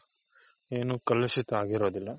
ಏನು ಕಲುಷಿತ ಆಗಿರೋದಿಲ್ಲ.